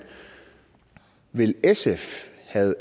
vil sf